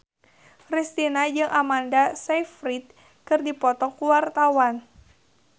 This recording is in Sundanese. Kristina jeung Amanda Sayfried keur dipoto ku wartawan